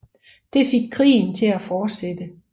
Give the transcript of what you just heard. Det fik krigen til at fortsætte